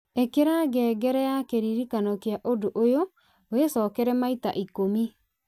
ĩkĩra ngengere ya kĩririkano kĩa ũndũ ũyũ wĩcokere maita ikũmi